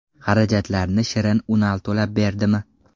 Xarajatlarni Shirin Unal to‘lab berdimi?